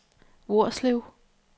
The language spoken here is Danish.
Hvorslev